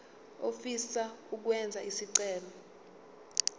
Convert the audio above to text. ofisa ukwenza isicelo